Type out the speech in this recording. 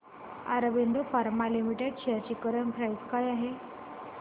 Aurobindo pharma limited shares ची current price काय आहे